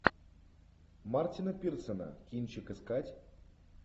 мартина пирсона кинчик искать